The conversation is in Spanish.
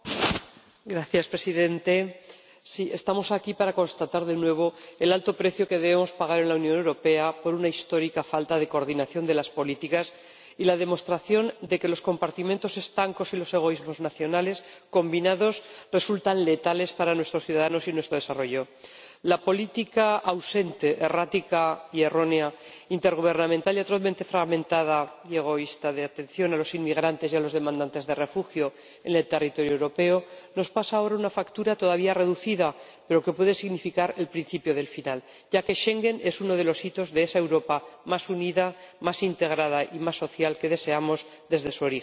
Señor Presidente, estamos aquí para constatar, de nuevo, el alto precio que debemos pagar en la Unión Europea por una histórica falta de coordinación de las políticas y la demostración de que los compartimentos estanco y los egoísmos nacionales, combinados, resultan letales para nuestros ciudadanos y nuestro desarrollo. La política ausente, errática y errónea, intergubernamental y atrozmente fragmentada, y egoísta, de atención a los inmigrantes y a los solicitantes de asilo en el territorio europeo nos pasa ahora una factura todavía reducida, pero que puede significar el principio del final, ya que Schengen es uno de los hitos de esa Europa más unida, más integrada y más social que deseamos desde su origen.